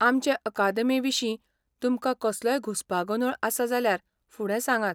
आमचे अकादेमीविशीं तुमकां कसलोय घुसपागोंदोळ आसा, जाल्यार फुडें सांगात.